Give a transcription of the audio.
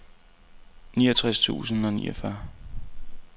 niogtres tusind og niogfyrre